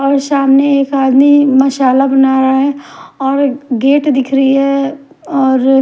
और सामने एक आदमी मसाला बना रहा है और गेट दिख रही है और--